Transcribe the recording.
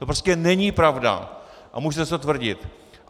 To prostě není pravda a můžete si to tvrdit.